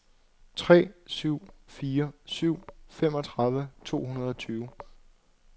tre syv fire syv femogtredive to hundrede og tyve